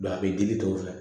a bɛ digi tɔw fɛ